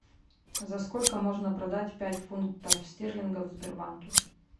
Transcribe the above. за сколько можно продать пять фунтов стерлингов в сбербанке